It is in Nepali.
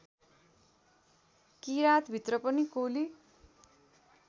किराँतभित्र पनि कोली